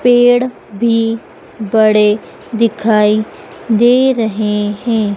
पेड़ भी बड़े दिखाई दे रहे हैं।